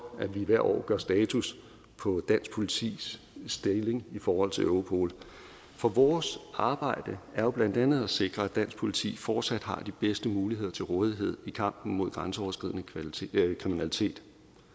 at vi hvert år gør status over dansk politis stilling i forhold til europol for vores arbejde er jo blandt andet at sikre at dansk politi fortsat har de bedste muligheder til rådighed i kampen mod grænseoverskridende kriminalitet